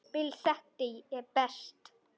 Bill þekkti ég best.